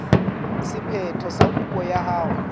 sephetho sa kopo ya hao